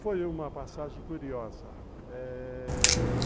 Foi uma passagem curiosa, eh...